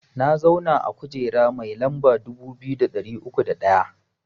Na zauna a kujera mai lamba dubu biyu da ɗari uku da ɗaya